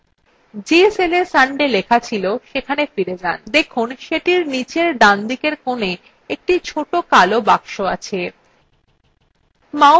go cell sunday লেখা ছিল সেখানে ফিরে যান দেখুন সেটির নীচের ডানদিকের কোনে একটি ছোট কালো box আছে